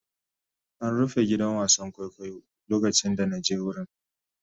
An rufe gidan wasan kwaikwayo lokacin da na je wurin.